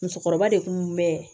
Musokɔrɔba de kun bɛ